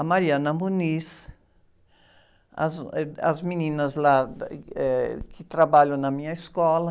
a, as, eh, as meninas lá da, eh, que trabalham na minha escola.